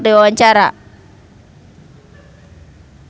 Rachel Maryam olohok ningali Joan Allen keur diwawancara